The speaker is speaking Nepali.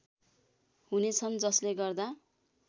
हुनेछन् जसले गर्दा